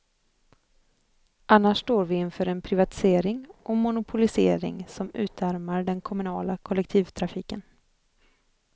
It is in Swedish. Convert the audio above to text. Annars står vi inför en privatisering och monopolisering som utarmar den kommunala kollektivtrafiken.